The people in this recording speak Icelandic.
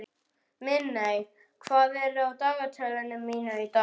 Minney, hvað er í dagatalinu mínu í dag?